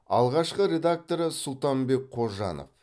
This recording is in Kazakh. алғашқы редакторы сұлтанбек қожанов